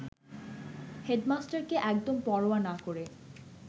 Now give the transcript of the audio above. হেডমাস্টারকে একদম পরোয়া না করে